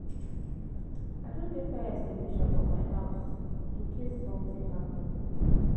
I don get fire extinguisher for my house in case something happen